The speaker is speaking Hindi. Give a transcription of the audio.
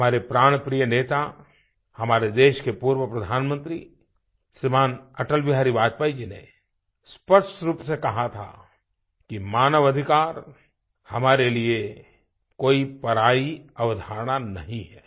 हमारे प्राणप्रिय नेता हमारे देश के पूर्व प्रधानमंत्री श्रीमान् अटल बिहारी वाजपेयी जी ने स्पष्ट रूप से कहा था कि मानव अधिकार हमारे लिए कोई परायी अवधारणा नहीं है